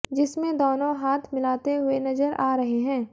जिसमें दोनों हाथ मिलाते हुए नजर आ रहे हैं